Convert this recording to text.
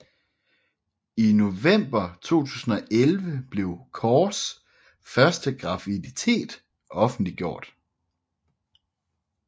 I november 2011 blev Corrs første graviditet offentliggjort